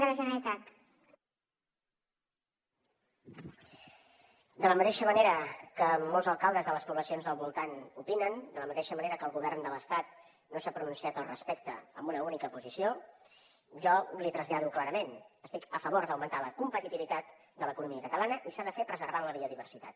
de la mateixa manera que molts alcaldes de les poblacions del voltant opinen de la mateixa manera que el govern de l’estat no s’ha pronunciat al respecte amb una única posició jo l’hi trasllado clarament estic a favor d’augmentar la competitivitat de l’economia catalana i s’ha de fer preservant la biodiversitat